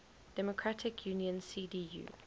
democratic union cdu